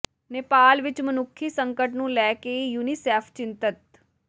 ਨੇਪਾਲ ਵਿਚ ਮਨੁੱਖੀ ਸੰਕਟ ਨੂੰ ਲੈ ਕੇ ਯੂਨੀਸੈਫ ਚਿੰਤਤ